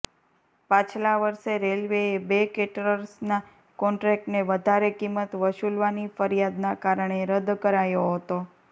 પાછલા વર્ષે રેલવેએ બે કેટરર્સના કોન્ટ્રેક્ટને વધારે કિંમત વસૂલવાની ફરિયાદના કારણે રદ્દ કરાયો હતો